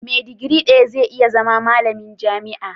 Me digiri daya zai iya zama malamin jami'a?